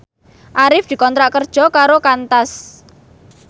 Arif dikontrak kerja karo Qantas